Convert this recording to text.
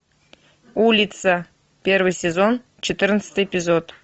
улица первый сезон четырнадцатый эпизод